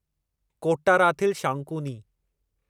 Kottarathil Shankuni